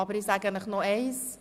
Aber ich sage Ihnen noch eines: